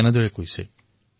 তেওঁ কবিতাত এইদৰে উল্লেখ কৰিছে